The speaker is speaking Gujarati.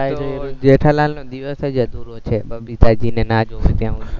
જેઠાલાલને દિવસ જ અધૂરો છે, બબીતાજીને ના જુવે ત્યાં હુધી